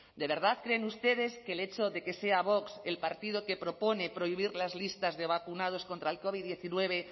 de verdad creen ustedes que el hecho de que sea vox el partido que propone prohibir las listas de vacunados contra el covid diecinueve